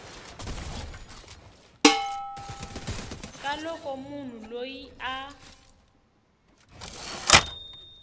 ka loko munhu loyi a